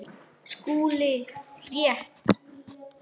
SKÚLI: Rétt!